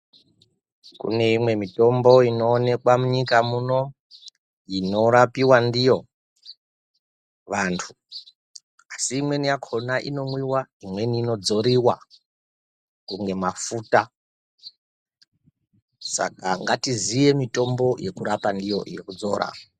Kune imwe mitombo inooneka munyika muno inorapiwa ndiyo vantu asi imweni yakona inomwiwa, imweni inodzoriwa kunge mafuta saka ngatiziye mitombo yekurapa ndiyo yekudzora